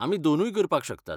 आमी दोनूय करपाक शकतात.